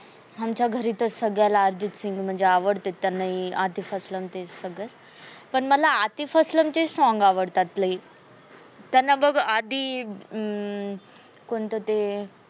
आमच्या घरी त सगळ्याला अर्जित सिंग म्हणजे आवडते. त्यांना ही आतिफ अस्लम सगळे पण मला आदी चे ही song आवडतात. लय त्यांना बघ आदी अं कोणत ते